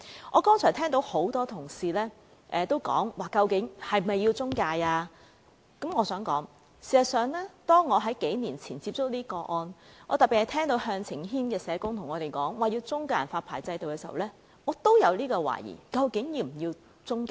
我剛才聽到多位同事質疑是否有需要設有中介公司，我想指出，當我在數年前接觸這些個案時，特別是當我聽到向晴軒的社工向我們表達要設立中介人發牌制度時，我也懷疑究竟是否要有中介。